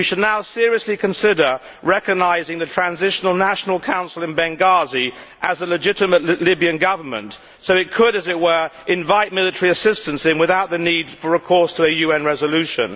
We should now seriously consider recognising the Transitional National Council in Benghazi as the legitimate Libyan Government, so that it could invite military assistance in without the need for recourse to a UN resolution.